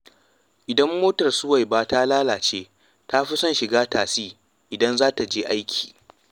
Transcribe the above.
Idan motar Suwaiba ta lalace, ta fi son shiga tasi idan za ta je aiki